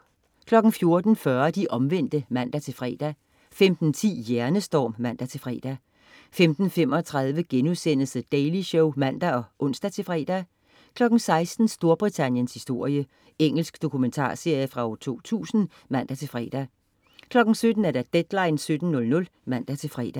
14.40 De Omvendte (man-fre) 15.10 Hjernestorm (man-fre) 15.35 The Daily Show* (man og ons-fre) 16.00 Storbritanniens historie. Engelsk dokumentarserie fra 2000 (man-fre) 17.00 Deadline 17:00 (man-fre)